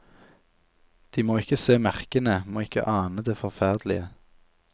De må ikke se merkene, må ikke ane det forferdelige.